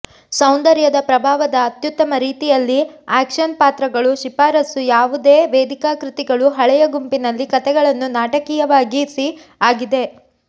ಸೌಂದರ್ಯದ ಪ್ರಭಾವದ ಅತ್ಯುತ್ತಮ ರೀತಿಯಲ್ಲಿ ಆಕ್ಷನ್ ಪಾತ್ರಗಳು ಶಿಫಾರಸು ಯಾವುದೇ ವೇದಿಕಾ ಕೃತಿಗಳು ಹಳೆಯ ಗುಂಪಿನಲ್ಲಿ ಕಥೆಗಳನ್ನು ನಾಟಕೀಯವಾಗಿಸಿ ಆಗಿದೆ